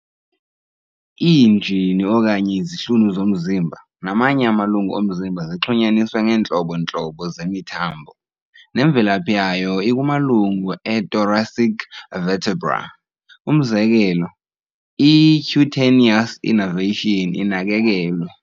Iinjini okanye izihlunu zomzimba, namanye amalungu omzimba zixhunyaniswe ngeentlobo-ntlobo zemithambo, nemvelaphi yayo ikumalungu ei-thoracic vertebrae. umzekelo, i-cutaneous innervation inakekelwe.